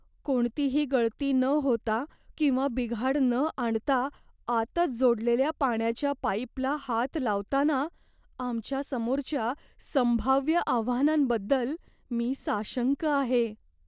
कोणतीही गळती न होता किंवा बिघाड न आणता आतच जोडलेल्या पाण्याच्या पाईपला हात लावताना आमच्यासमोरच्या संभाव्य आव्हानांबद्दल मी साशंक आहे.